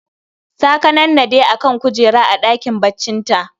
Ta kanannade a kan kujera a ɗakin baccinta